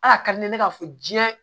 Al'a ka di ne ye ne k'a fɔ diɲɛ